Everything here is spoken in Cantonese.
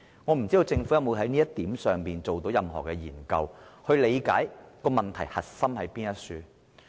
我不知道政府有沒有就這一點進行過任何研究，以理解問題核心所在。